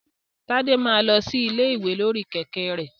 Tade máa lọ sí ilé ìwé lórí kẹ̀kẹ́ rẹ̀.